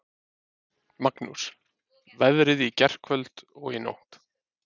Magnús: Veðrið í gærkvöld og í nótt?